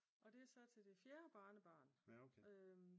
Og det er så til det fjerde barnebarn